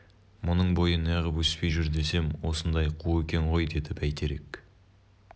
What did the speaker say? мұның бойы неғып өспей жүр десем осындай қу екен ғой деді бәйтерек